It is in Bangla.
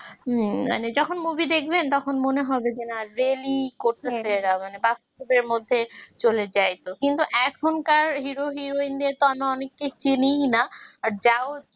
মানে যখন movie দেখবেন তখন মনে হবে যে না really করতে চায় এরা মানে বাস্তবের মধ্যে চলে যায় কিন্তু এখনকার hero heroine দের তো আমি অনেকদিন চিনিনা আর যাও